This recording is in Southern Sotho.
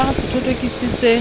o ka re sethothokisi se